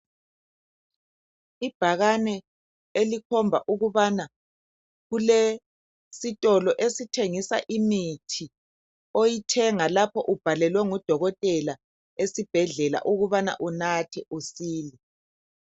Ibhakane elikhomba ukubana kulesitolo esithengisa imithi oyithenga lapho ubhalelwe ngudokotela esibhedlela ukubana unathe usile.